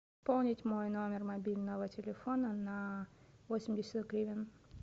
пополнить мой номер мобильного телефона на восемьдесят гривен